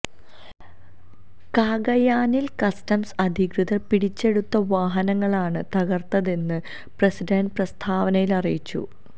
കാഗയാനില് customs അധികൃതര് പിടിച്ചെടുത്ത വാഹനങ്ങളാണ് തകര്ത്തതെന്ന് പ്രസിഡന്റ് പ്രസ്താവനയില് അറിയിച്ചു